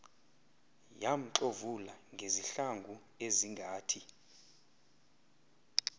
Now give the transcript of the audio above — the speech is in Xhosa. yamxovula ngezihlangu ezingathi